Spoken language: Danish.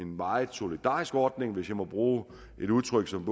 meget solidarisk ordning hvis jeg må bruge et udtryk som